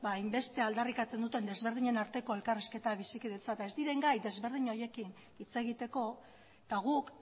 hainbeste aldarrikatzen duten desberdinen arteko elkarrizketa eta bizikidetza eta ez diren gai desberdin horiekin hitz egiteko eta guk